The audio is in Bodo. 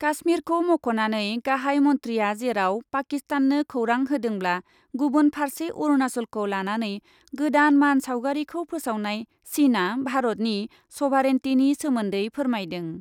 काश्मिरखौ मख'नानै गाहाइ मन्थ्रिआ जेराव पाकिस्ताननो खौरां होदोंब्ला गुबुन फार्से अरुनाचलखौ लानानै गोदान मान सावगारिखौ फोसावनाय चिनआ भारतनि सभारेन्टिनि सोमोन्दै फोरमायदों।